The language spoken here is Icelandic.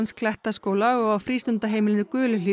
Klettaskóla og á frístundaheimilinu